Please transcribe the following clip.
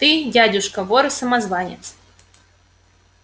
ты дядюшка вор и самозванец